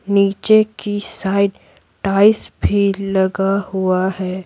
नीचे की side tiles भी लगा हुआ है।